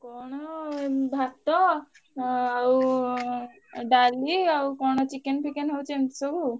କଣ ଉଁ ଭାତ ଅଁ ଆଉ ଡାଲି ଆଉ କଣ chicken ଫିକେନ ହଉଛି ଏମତି ସବୁ।